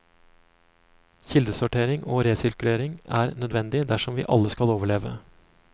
Kildesortering og resirkulering er nødvendig dersom vi alle skal overleve.